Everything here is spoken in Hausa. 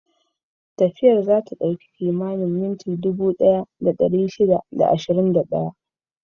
Tafiyar za ta ɗauki kimanin minti dubu ɗaya da ɗari shida da ashirin da ɗaya.